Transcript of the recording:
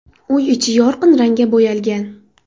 Uy ichi yorqin rangga bo‘yalgan.